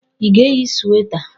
Ị ga-eyi sweta?